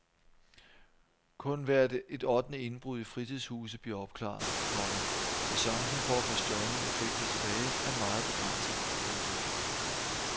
Kun hvert et ottende indbrud i fritidshuse bliver opklaret, komma så chancen for at få stjålne effekter tilbage er meget begrænset. punktum